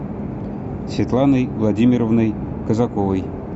светланой владимировной казаковой